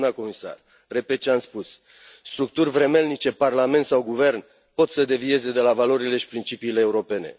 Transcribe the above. Doamnă comisar, repet ce am spus structuri vremelnice, parlament sau guvern, pot să devieze de la valorile și principiile europene.